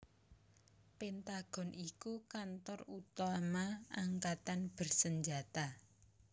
Pentagon iku kantor utama angkatan bersenjata